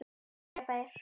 spyrja þeir.